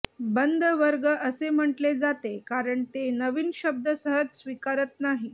बंद वर्ग असे म्हटले जाते कारण ते नवीन शब्द सहज स्वीकारत नाही